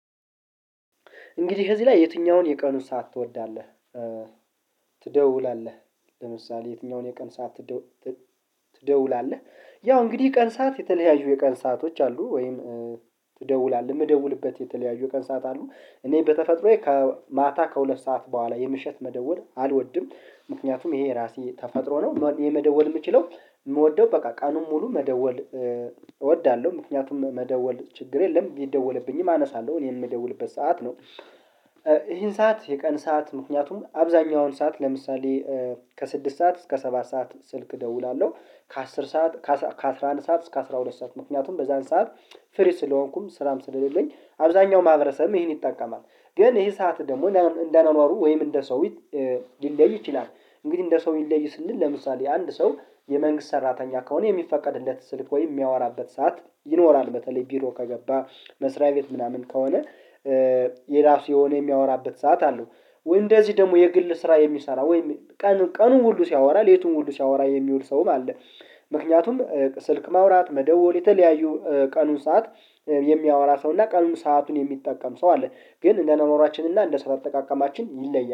እንግዲህ ከዚህ ላይ የትኛውን የቀኑን ሰዓት ትወዳለህ ትደውላለህ ለምሳሌ የትኛውን የቀን ሰዓት ትደውላለህ? ያው እንግዲህ ቀን ሰዓት የተለያዩ የቀን ሰአቶች አሉ ወይም ትደውላለህ የምደውልበት የተለያዩ ቀን ሰዓት አሉ። እኔ በተፈጥሮዬ ከማታ ከሁለት ሰዓት በኋላ የምሽት መደወል አልወድም ምክንያቱም ይሄ ራሴ ተፈጥሮ ነው የመደወል የምችለው የምወደው በቃ ቀኑን ሙሉ መደወል እወዳለሁ ምክንያቱም መደወል ችግር የለም ቢደወልብኝም አነሳለሁ እኔ የምደውልበት ሰዓት ነው። ይሄን ሰዓት የቀን ሰዓት ምክንያቱም አብዛኛውን ሰዓት ለምሳሌ ከስድስት ሰዓት እስከ ሰባት ሰዓት ስልክ እደውላለሁ። ከ አስር ሰዓት ከአስር ሰዓት ከአስራ አንድ ሰዓት እስከ አስራ ሁለት ሰዓት ምክንያቱም በዛን ሰዓት ፍሪ ስለሆንኩም ስራም ስለሌለኝ አብዛኛው ማህበረሰብም ይሄን ይጠቀማል። ግን ይሄ ሰዓት ደግሞ እንደ አንዋዋሩ ወይም እንደ ሰውዬ ሊለይ ይችላል። እንግዲህ እንደ ሰው ይለይ ስንል ለምሳሌ አንድ ሰው የመንግስት ሰራተኛ ከሆነ የሚፈቀድለት ስልክ ወይ የሚያወራበት ሰዓት ይኖራል በተለይ ቢሮ ከገባ መስሪያ ቤት ምናምን ከሆነ የራሱ የሆነ የሚያወራበት ሰዓት አለው። እንደዚህ ደግሞ የግል ስራ የሚሰራ ወይም ቀኑን ሁሉ ሲያወራ ሌቱን ሁሉ ሲያወራ የሚውል ሰውም አለ። ምክንያቱም ስልክ ማውራት መደወል የተለያዩ ቀኑን ሰዓት የሚያወራ ሰው እና ቀኑን ሰአቱን የሚጠቀም ሰው አለ። ግን እንደ አኗኗራችን እና እንደ ስራ አጠቃቀማችን ይለያል